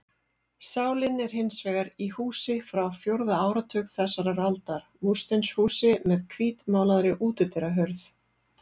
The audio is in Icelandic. Sálin er hins vegar í húsi frá fjórða áratug þessarar aldar, múrsteinshúsi með hvítmálaðri útidyrahurð.